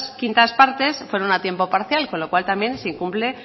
quintas partes fueron a tiempo parcial con lo cual también se incumple